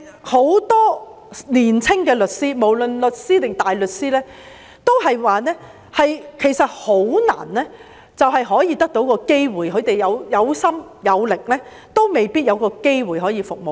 很多年輕律師，無論是律師或大律師，都表示很難有機會加入司法機構，他們有心有力，也未必有機會可以服務市民。